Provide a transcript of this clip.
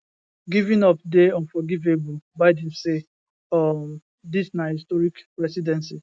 giving up dey unforgivablebiden say um dis na historic presidency